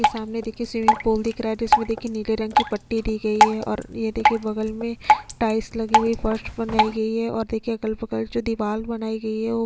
सामने देखिये swimming pool दिख रहा है इसमें देखिये नीले रंग की पट्टी दी गयी है और ये देखिये बगल में टाइल्स लगी हुई है फर्श मंगाई गयी है और देखिये अगल बगल जो दीवाल बनाई गयी है वो --